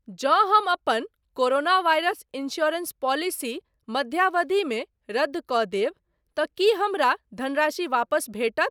जँ हम अपन कोरोना वायरस इन्स्योरेन्स पॉलिसी मध्यावधिमे रद्द कऽ देब तँ कि हमरा धनराशि वापस भेटत ?